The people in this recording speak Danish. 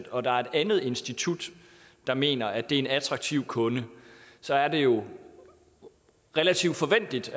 og der er et andet institut der mener at det er en attraktiv kunde så er det jo relativt forventeligt